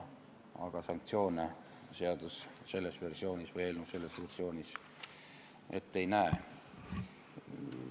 Aga sanktsioone eelnõu selles versioonis ette ei näe.